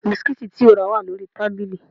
Bisikíìtì tí o rà wà lórí tábìlì